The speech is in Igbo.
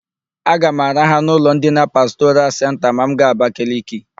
Aga m araha n'ụlọ ndina Pastoral Senta ma m gaa Abakaliki.